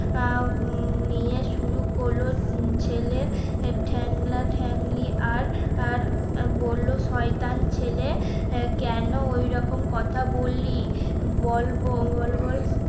আহ নিয়ে শুরু করলো তিন ছেলে ঠ্যাংলা, ঠ্যাংলি আর আর বললো শয়তান ছেলে কেন ওই রকম কথা বললি? বল বল বল